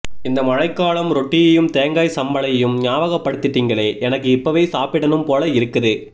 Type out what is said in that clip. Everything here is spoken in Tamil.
இந்த மழைக்காலம் ரொட்டியையும் தேங்காய் சம்பளையும் ஞாபகப் படுத்திட்டீங்களே எனக்கு இப்பவே சாப்பிடனும் போல இருக்குது